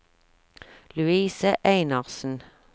Louise Einarsen